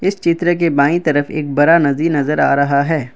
इस चित्र के बाईं तरफ एक बड़ा नदी नजर आ रहा है।